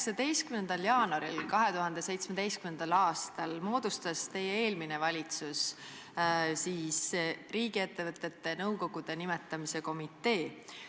19. jaanuaril 2017. aastal moodustas teie eelmine valitsus riigiettevõtete nõukogude nimetamise komitee.